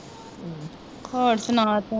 ਹੋਰ ਸੁਣਾ ਤੂੰ?